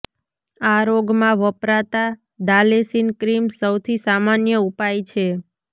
આ રોગમાં વપરાતા દાલેસીન ક્રીમ સૌથી સામાન્ય ઉપાય છે